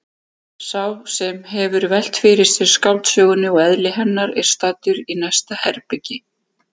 Sá sem hefur velt fyrir sér skáldsögunni og eðli hennar er staddur í næsta herbergi.